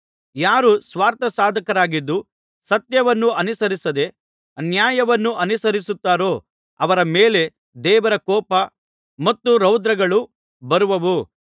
ಯಾರು ಸ್ವಾರ್ಥಸಾಧಕರಾಗಿದ್ದು ಸತ್ಯವನ್ನು ಅನುಸರಿಸದೆ ಅನ್ಯಾಯವನ್ನು ಅನುಸರಿಸುತ್ತಾರೋ ಅವರ ಮೇಲೆ ದೇವರ ಕೋಪ ಮತ್ತು ರೌದ್ರಗಳು ಬರುವವು